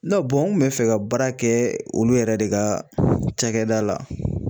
n kun bɛ fɛ ka baara kɛ olu yɛrɛ de ka cakɛda la